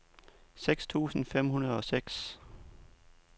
seks tusind fem hundrede og seks